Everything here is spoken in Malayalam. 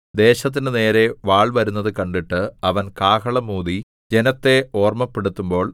ദേശത്തിന്റെ നേരെ വാൾ വരുന്നത് കണ്ടിട്ട് അവൻ കാഹളം ഊതി ജനത്തെ ഓർമ്മപ്പെടുത്തുമ്പോൾ